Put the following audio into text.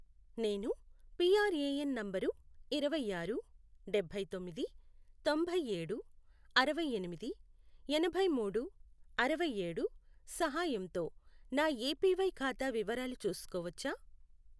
నేను PRAN number ఇరవైఆరు, డభైతొమ్మిది, తొంభైఏడు, అరవైఎనిమిది, ఎనభైమూడు, అరవైఏడు, సహాయంతో నా ఏపివై ఖాతా వివరాలు చూసుకోవచ్చా?